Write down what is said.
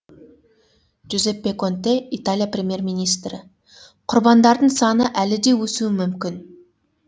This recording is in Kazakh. джузеппе конте италия премьер министрі құрбандардың саны әлі де өсуі мүмкін